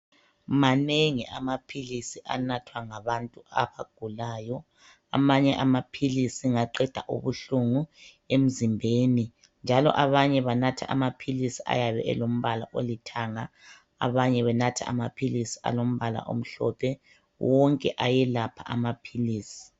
Manengi amaphilisi anathwa ngabantu abagulayo amanye amaphilisi ngaqeda ubuhlungu emzimbeni. Njalo abanye banatha amaphilisi ayabelombala olithanga abanye benatha amaphilisi alombala omhlophe wonke amaphilisi ayaqeda ubuhlungu.